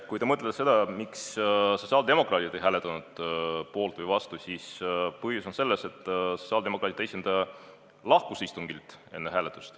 Kui te mõtlete seda, miks sotsiaaldemokraadid ei hääletanud poolt, siis põhjus on selles, et sotsiaaldemokraatide esindaja lahkus istungilt enne hääletust.